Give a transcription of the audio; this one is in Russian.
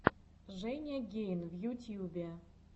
женя гейн в ютьюбе